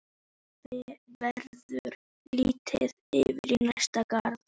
Verður litið yfir í næsta garð.